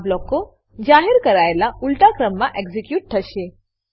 આ બ્લોકો જાહેર કરાયાનાં ઉલટા ક્રમમાં એક્ઝીક્યુટ થશે